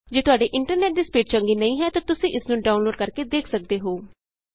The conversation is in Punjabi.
ਜੇ ਤੁਹਾਡੇ ਇੰਟਰਨੈਟ ਦੀ ਸਪੀਡ ਚੰਗੀ ਨਹੀਂ ਹੈ ਤਾਂ ਤੁਸੀਂ ਇਸ ਨੂੰ ਡਾਊਨਲੋਡ ਕਰਕੇ ਦੇਖ ਸਕਦੇ ਹੋ